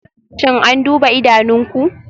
Shin an duba idanunku?